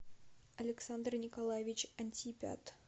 александр николаевич антипят